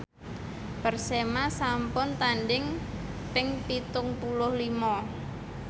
Persema sampun tandhing ping pitung puluh lima